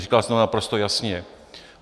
Říkal jsem to naprosto jasně.